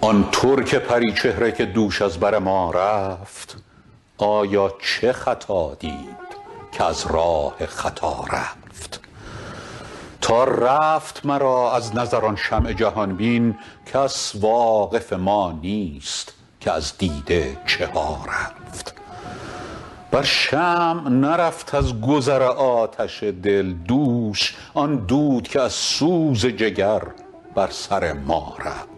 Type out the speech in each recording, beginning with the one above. آن ترک پری چهره که دوش از بر ما رفت آیا چه خطا دید که از راه خطا رفت تا رفت مرا از نظر آن چشم جهان بین کس واقف ما نیست که از دیده چه ها رفت بر شمع نرفت از گذر آتش دل دوش آن دود که از سوز جگر بر سر ما رفت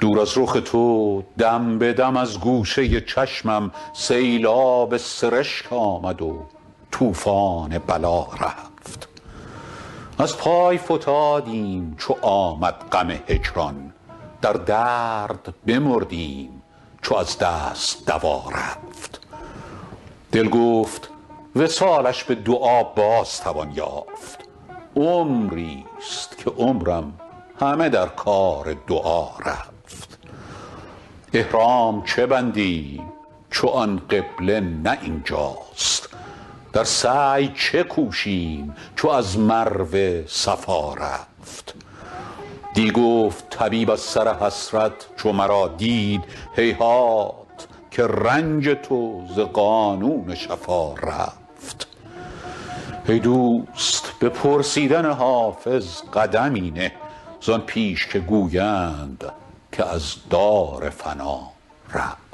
دور از رخ تو دم به دم از گوشه چشمم سیلاب سرشک آمد و طوفان بلا رفت از پای فتادیم چو آمد غم هجران در درد بمردیم چو از دست دوا رفت دل گفت وصالش به دعا باز توان یافت عمریست که عمرم همه در کار دعا رفت احرام چه بندیم چو آن قبله نه این جاست در سعی چه کوشیم چو از مروه صفا رفت دی گفت طبیب از سر حسرت چو مرا دید هیهات که رنج تو ز قانون شفا رفت ای دوست به پرسیدن حافظ قدمی نه زان پیش که گویند که از دار فنا رفت